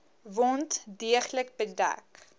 wond deeglik bedek